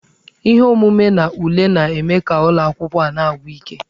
Ihe omume na ule na-eme ka ụlọ akwụkwọ a na-agwụ ike.